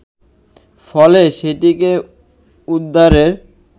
ফলে সেটিকে উদ্ধারে